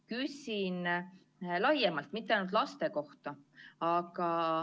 Küsin laiemalt, mitte ainult laste kohta.